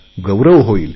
गौरव होईल